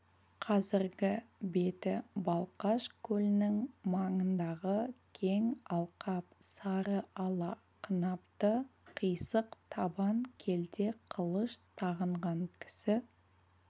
қазіргі беті балқаш көлінің маңындағы кең алқап сары ала қынапты қисық табан келте қылыш тағынған кісі